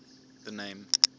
the name